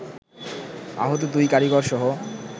আহত দুই কারিগরসহ